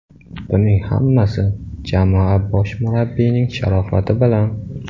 Buning hammasi jamoa bosh murabbiyining sharofati bilan”.